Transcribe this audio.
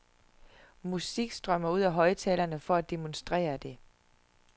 Musik strømmer ud af højttalerne for at demonstrere det.